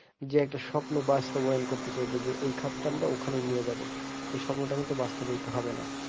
যে একটা স্বপ্ন বাস্তবায়ন করতে চাইবো যে এই খাতটা আমরা ওখানে নিয়ে যাবো এই স্বপ্নটা কিন্তু বাস্তবিত হবেনা।